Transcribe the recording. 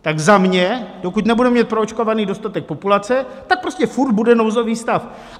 Tak za mě, dokud nebudeme mít proočkovaný dostatek populace, tak prostě furt bude nouzový stav.